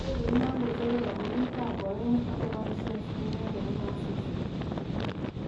Indegeit non kochope kampunit tab Boeing ako boishen stimet nebunu asista.